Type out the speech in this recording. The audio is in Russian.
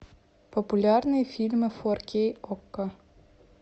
популярные фильмы фор кей окко